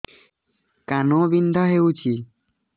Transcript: କାନ ବିନ୍ଧା ହଉଛି